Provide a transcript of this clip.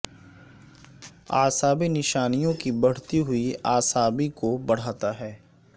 اعصابی نشانیوں کی بڑھتی ہوئی اعصابی کو بڑھاتا ہے